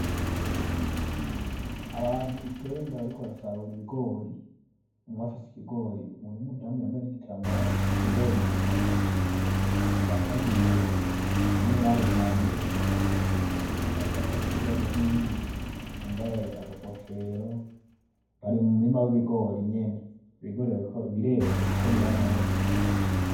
Abantu icenda bariko barasarura ibigori . Umwe afise ikigori umuntu wumudamu yambaye igitambara afise ikigori muntoke ahagaze imbere uwundi umwe aranunamye ariko atora ikigori hari nuwundi yamabaye akagofero bari mumurima wibigori nyene ibigori bireze kuko biranumye.